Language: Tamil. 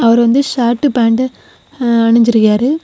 அவர் வந்து ஷர்டு பேண்டு அணிஞ்சு இருக்காரு.